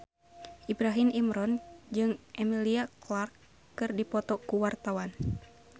Ibrahim Imran jeung Emilia Clarke keur dipoto ku wartawan